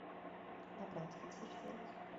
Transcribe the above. набрать консьерж сервис